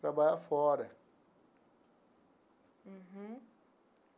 Trabalhar fora. Uhum.